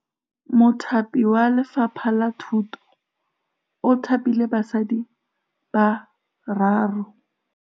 Mothapi wa Lefapha la Thutô o thapile basadi ba ba raro.